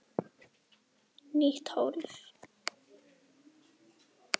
Nýtt hólf.